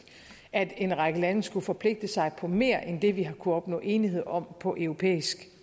at en række lande skulle forpligte sig på mere end det vi har kunnet opnå enighed om på europæisk